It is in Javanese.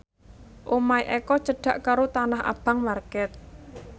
omahe Eko cedhak karo Tanah Abang market